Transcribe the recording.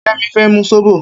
Kemi fè mú sóbó